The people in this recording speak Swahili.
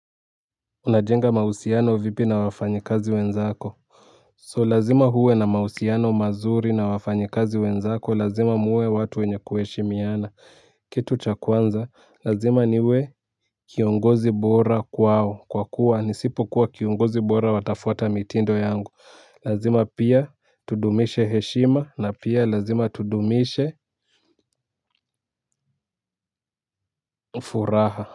Unajenga mahusiano vipi na wafanyikazi wenzako? So lazima uwe na mahusiano mazuri na wafanyikazi wenzako lazima muwe watu wenye kuheshimiana. Kitu cha kwanza lazima niwe kiongozi bora kwao kwa kuwa nisipokuwa kiongozi bora watafuata mitindo yangu. Lazima pia tudumishe heshima na pia lazima tudumishe furaha ha.